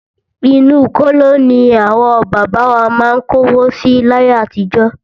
Inú kóló ní àwọn bàbá wa má ń kówó si láyé àtijọ́.